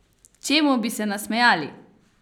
Čemu bi se nasmejali?